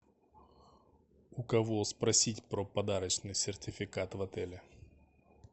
у кого спросить про подарочный сертификат в отеле